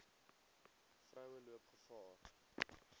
vroue loop gevaar